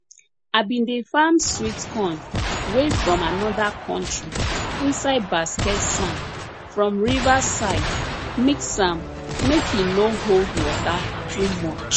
i bin dey farm sweet corn wey from another country inside basket sand from river side mix am make e no hold water too much